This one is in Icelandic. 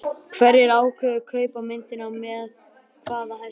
Hverjir ákváðu kaup á myndinni og með hvaða hætti?